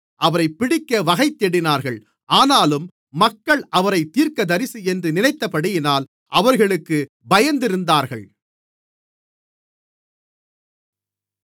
அவரைப் பிடிக்க வகைதேடினார்கள் ஆனாலும் மக்கள் அவரைத் தீர்க்கதரிசியென்று நினைத்தபடியினால் அவர்களுக்குப் பயந்திருந்தார்கள்